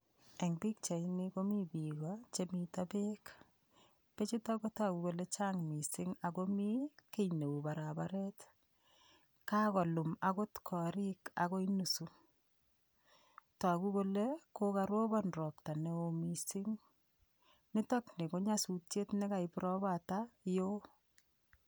Eng' pikchaini komi biko chemito beek bechuto kotoku kole chang' mising' akomi kii neu barabaret kakolul akot korik akoi nusu toku kole komarobon ropta ne oo mising' nitokni ko nyasutiet nekaib ropatak yoo